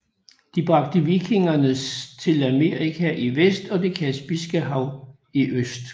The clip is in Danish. De bragte vikingernes til Amerika i vest og Det Kaspiske Hav i øst